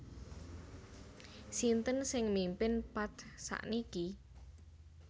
Sinten sing mimpin Path sakniki?